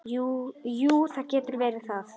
Jú, það getur verið það.